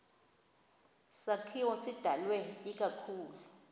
sakhiwo sidalwe ikakhulu